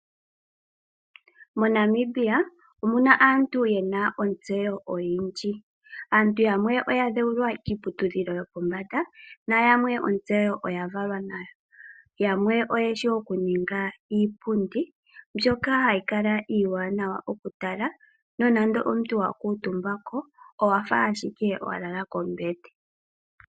MoNamibia omuna aantu yena ontseyo oyindji aantu yamwe oyadhewulwa kiiputudhilo yopombanda nayamwe ontseyo oya valwa nayo, yamwe oyena ontseyo yoku honga iipundi ndjoka hayikala iiwanawa okutala nongele omuntu wakutumbako owafa ashike walala kombete.